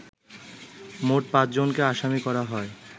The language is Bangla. মোট পাঁচজনকে আসামি করা হয়